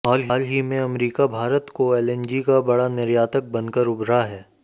हाल ही में अमेरिका भारत को एलएनजी का बड़ा निर्यातक बनकर उभरा है